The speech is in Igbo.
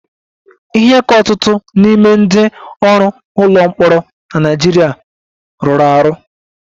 Ihe ka ọtụtụ n'ime ndị ọrụ ụlọ mkpọrọ na Naịjirịa rụrụ arụ